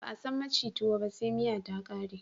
Ba a san maci tuwo ba se miya ta ƙare